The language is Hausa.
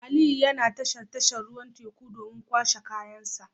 Aliyu yana tashar tashar ruwan teku domin kwashe kayansa